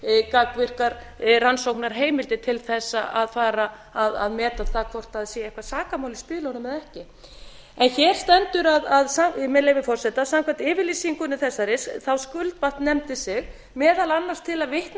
gagnvirkar rannsóknarheimildir til þess að fara að meta það hvort það sé eitthvert sakamál í spilunum eða ekki hér stendur með leyfi forseta samkvæmt yfirlýsingu þessari skuldbatt nefndin sig meðal annars til að vitna